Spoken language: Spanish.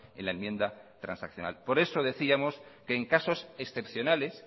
en la enmienda transaccional por eso decíamos que en casos excepcionales